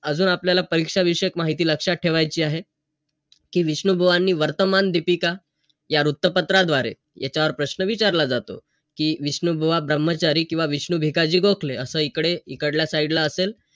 अजून आपल्याला परीक्षा विषयक माहिती लक्षात ठेवायची आहे. कि विष्णुबुवांनी वर्तमान दीपिका या वृत्तपत्राद्वारे याच्यावर प्रश्न विचारला जातो. कि विष्णुबुवा ब्रम्हचारी किंवा विष्णू भिकाजी गोखले असं इकडे, इकडल्या side ला असेल.